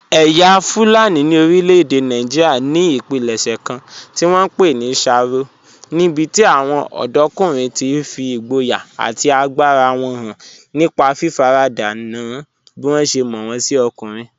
Ẹ̀yà Fulani ní orílẹ̀-èdè Nàìjíríà ní ìpilẹ̀ṣẹ̀ kan tí wọ́n ń pè ní sharo, níbi tí àwọn ọ̀dọ́kùnrin ti fi ìgboyà àti agbára wọn hàn nípa fífaradà nà án bí wọ́n ṣe mọ̀ wọ́n sí ọkùnrin.